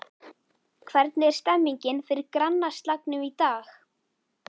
Hvernig er stemningin fyrir grannaslagnum í dag?